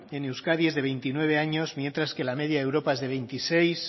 en euskadi es de veintinueve años mientras que la media de europa es de veintiséis